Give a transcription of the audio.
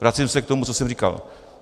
Vracím se k tomu, co jsem říkal.